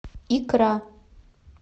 икра